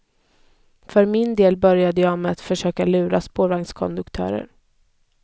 För min del började jag med att försöka lura spårvagnskonduktörer.